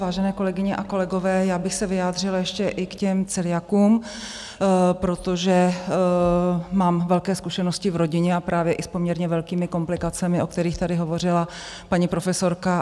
Vážené kolegyně a kolegové, já bych se vyjádřila ještě i k těm celiakům, protože mám velké zkušenosti v rodině a právě i s poměrně velkými komplikacemi, o kterých tady hovořila paní profesorka.